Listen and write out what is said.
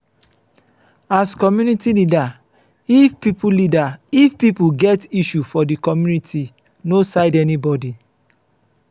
as community leader if pipo leader if pipo get issue for di community no side anybody